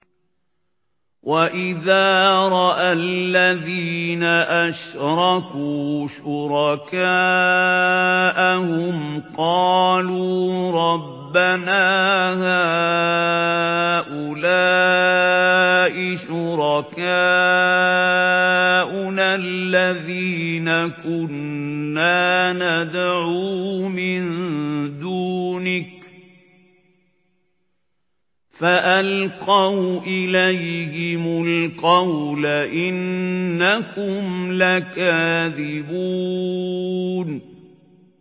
وَإِذَا رَأَى الَّذِينَ أَشْرَكُوا شُرَكَاءَهُمْ قَالُوا رَبَّنَا هَٰؤُلَاءِ شُرَكَاؤُنَا الَّذِينَ كُنَّا نَدْعُو مِن دُونِكَ ۖ فَأَلْقَوْا إِلَيْهِمُ الْقَوْلَ إِنَّكُمْ لَكَاذِبُونَ